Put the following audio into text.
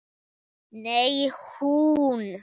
Nei, hún.